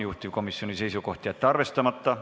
Juhtivkomisjoni seisukoht: jätta see arvestamata.